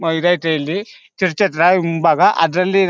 church ಹತ್ರ ಮುಂಭಾಗ ಅದ್ರಲ್ಲಿ -